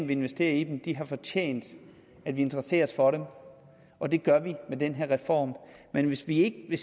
vi investerer i dem de har fortjent at vi interesserer os for dem og det gør vi med den her reform men hvis vi ikke